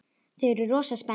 Þau eru rosa spennt.